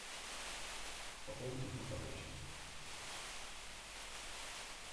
пополни телефон товарища